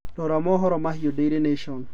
rora mohoro mahĩũ daily nation